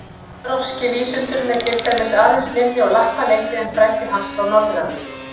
Evrópski vísundurinn er til dæmis aðeins minni og lappalengri en frændi hans frá Norður-Ameríku.